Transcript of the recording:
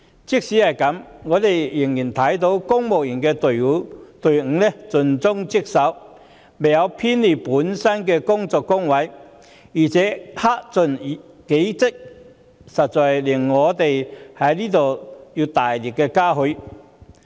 儘管如此，我們仍然看到公務員隊伍盡忠職守，未有偏離本身的工作崗位，並克盡己職，實在值得我們大力嘉許。